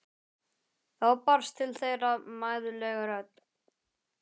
Þá barst til þeirra mæðuleg rödd